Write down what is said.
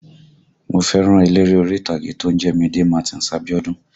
Mo fẹ́ràn eléré orí ìtàgé tó ń jẹ́ Mide Martins Abiodun